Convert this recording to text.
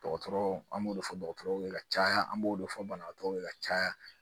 Dɔgɔtɔrɔw an b'o de fɔ dɔgɔtɔrɔw ye ka caya an b'o de fɔ banabagatɔw ye ka caya